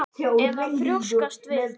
Eða að þrjóskast við?